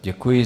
Děkuji.